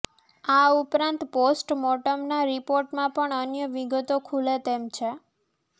આ ઉપરાંત પોસ્ટ મોર્ટમના રિપોર્ટમાં પણ અન્ય વિગતો ખૂલે તેમ છે